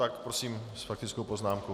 Tak prosím, s faktickou poznámkou.